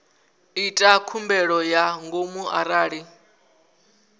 ita khumbelo ya ngomu arali